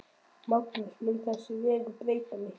Magnús: Mun þessi vegur breyta miklu?